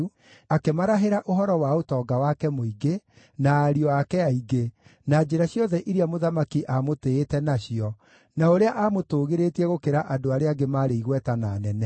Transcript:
akĩmarahĩra ũhoro wa ũtonga wake mũingĩ, na ariũ ake aingĩ, na njĩra ciothe iria mũthamaki aamũtĩĩte nacio, na ũrĩa aamũtũũgĩrĩtie gũkĩra andũ arĩa angĩ maarĩ igweta na anene.